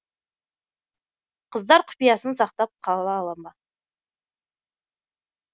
қыздар құпиясын сақтап қала қала ма